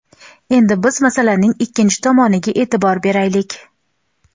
Endi biz masalaning ikkinchi tomoniga e’tibor beraylik.